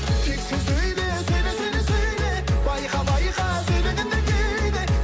тек сен сөйле сөйле сөйле сөйле байқа байқа сөйлегенде кейде